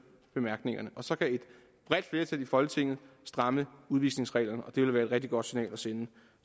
bemærkningerne så kan et bredt flertal i folketinget stramme udvisningsreglerne og det vil være et rigtig godt signal at sende